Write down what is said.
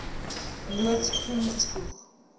loods groen spoeg